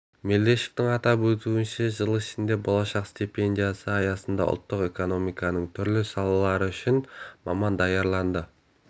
мелдешовтің атап өтуінше жыл ішінде болашақ стипендиясы аясында ұлттық экономиканың түрлі салалары үшін маман даярланды